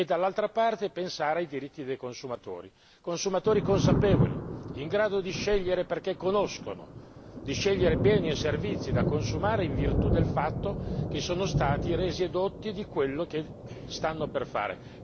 Dall'altra parte dobbiamo pensare anche ai diritti dei consumatori, consumatori consapevoli in grado di scegliere perché conoscono, di scegliere bene i servizi da consumare in virtù del fatto che sono stati resi edotti di quello che stanno per fare.